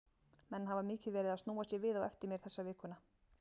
Menn hafa mikið verið að snúa sér við á eftir mér þessa viku.